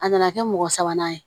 A nana kɛ mɔgɔ sabanan ye